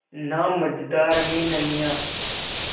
ना मझधार में नैय्या